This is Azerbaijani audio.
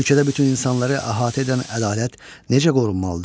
Ölkədə bütün insanları əhatə edən ədalət necə qorunmalıdır?